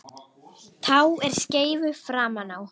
Tá er skeifu framan á.